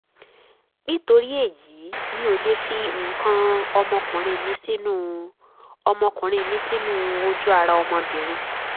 nítorí èyí mi ò lè fi nǹkan ọmọkuùnrin mi sínú ọmọkuùnrin mi sínú ojú ara ọmọbìnrin